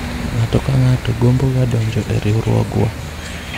ng'ato ka ng'ato gombo ga donjo e riwruogwa